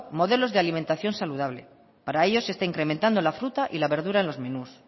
modelos de alimentación saludable para ello se está incrementando la fruta y la verdura en los menús